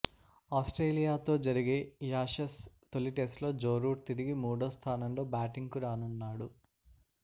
ఆస్ట్రేలియాతో జరిగే యాషెస్ తొలి టెస్టులో జో రూట్ తిరిగి మూడో స్థానంలో బ్యాటింగ్కు రానున్నాడు